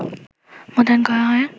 মোতায়েন করা হয়